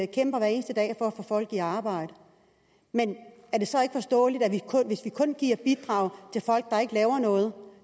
kæmper hver eneste dag for at få folk i arbejde men er det så ikke forståeligt at det hvis vi kun giver et bidrag til folk der ikke laver noget